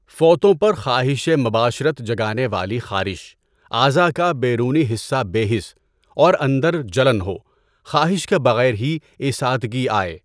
فوطوں پر خواہشِ مباشرت جگانے والی خارش، اعضاء کا بیرونی حصہ بے حس اور اندر جلن ہو، خواہش کے بغیر ہی ایستادگی آئے۔